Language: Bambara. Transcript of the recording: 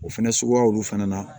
O fɛnɛ suguyaw fana na